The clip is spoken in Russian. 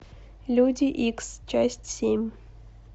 люди икс часть семь